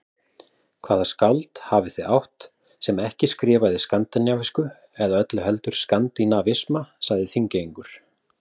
Hvaða skáld hafið þið átt, sem ekki skrifaði skandinavísku eða öllu heldur skandinavisma, sagði Þingeyingur.